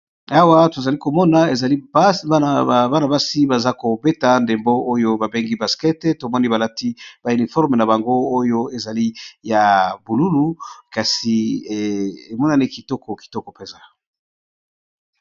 Awa tozali komona ezali place bana basi baza kobeta ndembo oyo babengi basket tomoni balati ba uniforme na bango oyo ezali ya bululu kasi emonani kitoko kitoko mpenza.